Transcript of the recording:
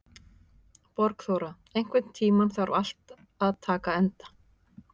Borgþóra, einhvern tímann þarf allt að taka enda.